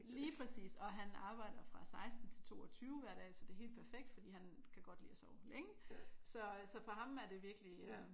Lige præcis. Og han arbejder fra 16 til 22 hver dag så det er helt perfekt fordi han kan godt lide at sove længe så øh så for ham er det virkelig